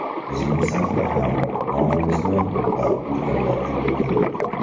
Bizning safda ham nomimizni bulg‘ab yurganlar juda ko‘p.